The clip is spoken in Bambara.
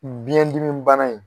Biyɛn dimi bana in